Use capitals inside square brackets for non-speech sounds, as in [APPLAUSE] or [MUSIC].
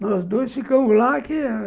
Nós dois ficamos lá [UNINTELLIGIBLE]